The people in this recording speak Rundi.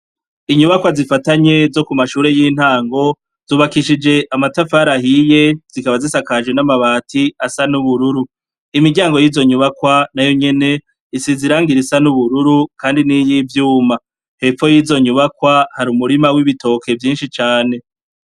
Inyubako zifatanye zo kuma shure yintago zubakishije amatafari ahiye zikaba zisakaje namabati asa n,ubururu imiryango yizo nyubakwa nayo nyene zisize irangi risa n,ubururu kandi nivyuma hepfo yizo nyubakwa hari umurima wibitoke vyinshi cane.